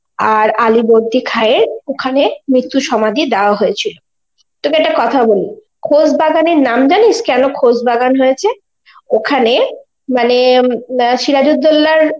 আর আলীবর্দী খায়ের ওখানে মৃত্যু সমাধি দেওয়া হয়েছিল. তোকে একটা কথা বলি, খোশবাগানের নাম জানিস কেনো খোশবাগান হয়েছে? ওখানে মানে আ সিরাজ উদ্দৌলার~